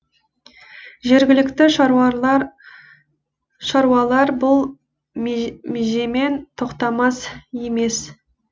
жергілікті шаруалар бұл межемен тоқтамақ емес